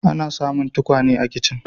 Ana samun tukwane a kicin.